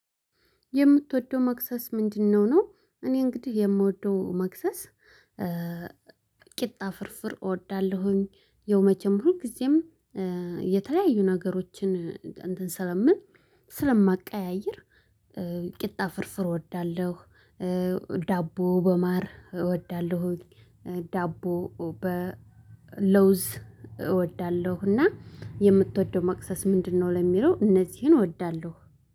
የምትወደው መክሰስ ምንድነው? ነው እኔ እንግዲህ የምወደው መክሰስ። ቂጣ ፍርፍር እወዳለሁኝ ያው መቸም ብሆን ሁልጊዜም። የተለያዩ ነገሮችን እንትን ስለምን ስለማቀያይር። ቂጣ ፍርፍር እወዳለሁ። ዳቦ በማር እወዳለሁ። ዳቦ በለውዝ እወዳለሁ። እና የምትወደው መቅሰስ ምንድነው ለሚለው እነዚህን እወዳለሁ